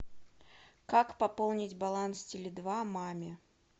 как пополнить баланс теле два маме